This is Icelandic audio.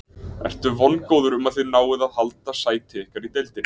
Ertu vongóður um að þið náið að halda sæti ykkar í deildinni?